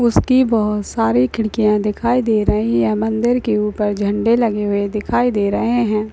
उसकी बहुत सारी खिड़किया दिखाई दे रही है मंदिर के ऊपर झंडे लगे हुए दिखाई दे रहे है।